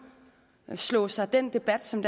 undslår sig den debat som